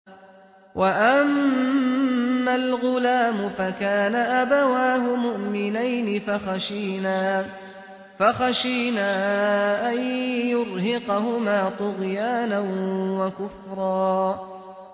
وَأَمَّا الْغُلَامُ فَكَانَ أَبَوَاهُ مُؤْمِنَيْنِ فَخَشِينَا أَن يُرْهِقَهُمَا طُغْيَانًا وَكُفْرًا